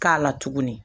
K'a la tuguni